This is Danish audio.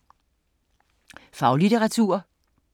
Faglitteratur